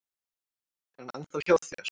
Er hann ennþá hjá þér?